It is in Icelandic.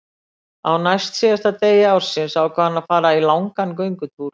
Á næstsíðasta degi ársins ákvað hann að fara í langan göngutúr.